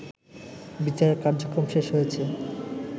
বিচার কার্যক্রম শেষ হয়েছে